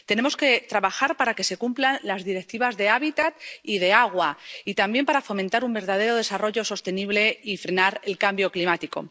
Tenemos que trabajar para que se cumplan las Directivas sobre los hábitats y sobre el agua, y también para fomentar un verdadero desarrollo sostenible y frenar el cambio climático.